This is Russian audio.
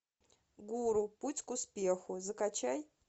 гуру путь к успеху закачай